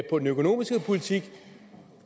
på den økonomiske politik